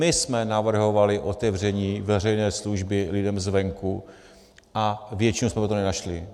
My jsme navrhovali otevření veřejné služby lidem zvenku a většinu jsme pro to nenašli.